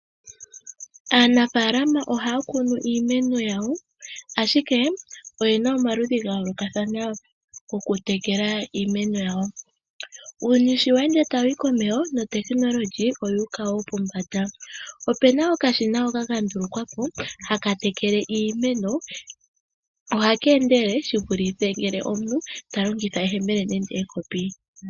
Aanafaalama ohaakunu iimeno yawo ashikee oyena omaludhi ga yoolokathana okutekela iimeno yawo. Uuyuni sho weende tawuyi komeho notekinololyi oyuuka woo pombanda. Opena okashina hoka kandulukwapo hakatekele iimeno ohakeendelele shivulithe ngele omuntu talongitha eyemele nenge ekopi.